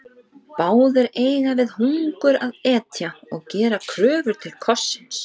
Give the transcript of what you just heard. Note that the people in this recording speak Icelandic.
Báðir eiga við hungur að etja og gera kröfu til kossins.